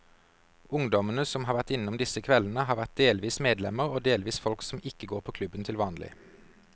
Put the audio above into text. Ungdommene som har vært innom disse kveldene, har vært delvis medlemmer og delvis folk som ikke går på klubben til vanlig.